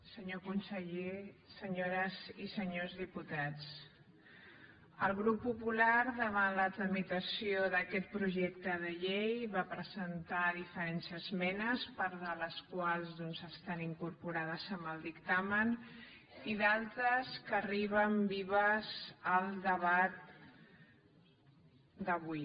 senyor conseller senyores i senyors diputats el grup popular davant la tramitació d’aquest projecte de llei va presentar diferents esmenes part de les quals doncs estan incorporades en el dictamen i d’altres arriben vives al debat d’avui